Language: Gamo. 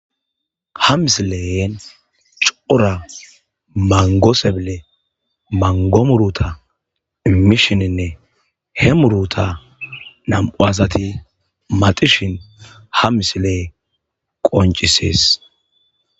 Ha misileyeen cuoura mangoseble mangomuruta immishininne he muruta nam7u asati maxishin ha misile qoncisees.